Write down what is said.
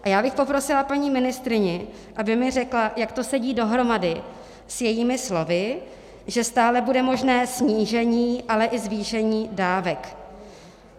A já bych poprosila paní ministryni, aby mi řekla, jak to sedí dohromady s jejími slovy, že stále bude možné snížení, ale i zvýšení dávek.